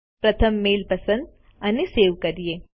પ્રથમ મેઈલ પસંદ અને સેવ કરીએ